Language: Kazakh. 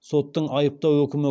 соттың айыптау үкімі